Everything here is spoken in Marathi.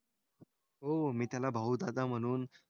हो मी त्याला भाऊ दादा म्हणून,